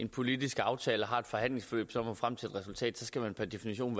politisk aftale har et forhandlingsforløb og når frem til et resultat per definition